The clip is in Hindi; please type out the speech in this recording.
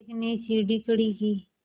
एक ने सीढ़ी खड़ी की